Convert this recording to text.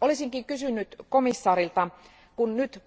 Olisinkin kysynyt komissaarilta, nyt kun